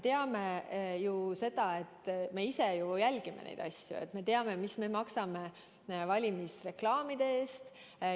Me ise ju jälgime neid asju ja me teame, mis me maksame valimisreklaamide eest.